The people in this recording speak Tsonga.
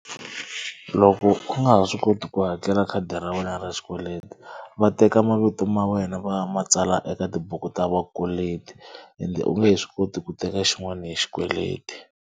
Loko u nga ha swi koti ku hakela khadi ra wena ra xikweleti va teka mavito ma wena va ma tsala eka tibuku ta vakweleti ende u nge he swi koti ku teka xin'wana hi xikweleti.